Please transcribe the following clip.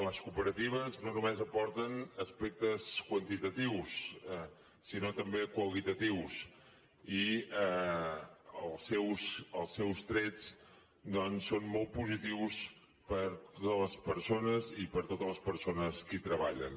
les cooperatives no només aporten aspectes quantitatius sinó també qualitatius i els seus trets doncs són molt positius per a totes les persones i per a totes les persones que hi treballen